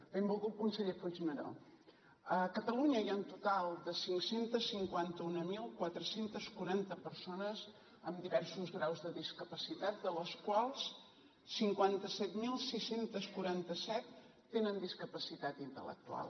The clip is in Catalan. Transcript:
benvolgut conseller puigneró a catalunya hi ha un total de cinc cents i cinquanta mil quatre cents i quaranta persones amb diversos graus de discapacitat de les quals cinquanta set mil sis cents i quaranta set tenen discapacitat intel·lectual